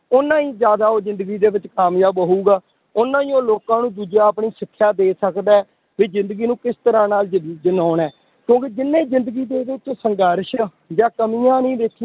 ਓਨਾ ਹੀ ਜ਼ਿਆਦਾ ਉਹ ਜ਼ਿੰਦਗੀ ਦੇ ਵਿੱਚ ਕਾਮਯਾਬ ਹੋਊਗਾ, ਓਨਾ ਹੀ ਉਹ ਲੋਕਾਂ ਨੂੰ ਦੂਜੇ ਆਪਣੀ ਸਿਕਸ਼ਾ ਦੇ ਸਕਦਾ ਹੈ, ਵੀ ਜ਼ਿੰਦਗੀ ਨੂੰ ਕਿਸ ਤਰ੍ਹਾਂ ਨਾਲ ਜ~ ਜਿਉਣਾ ਹੈ, ਕਿਉਂਕਿ ਜਿੰਨੇ ਜ਼ਿੰਦਗੀ ਦੇ ਵਿੱਚ ਸੰਘਰਸ਼ ਆ ਜਾਂ ਕਮੀਆਂ ਨੀ ਦੇਖਣੀ~